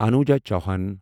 Anuja Chauhan